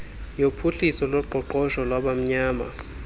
yophuhliso loqoqosho lwabamnyama